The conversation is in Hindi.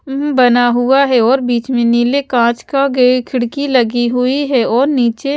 हुंहुं बना हुआ है और बीच में नीले काँच का गे खिड़की लगी हुई है और नीचे --